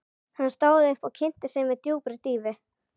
Hann stóð upp og kynnti sig með djúpri dýfu.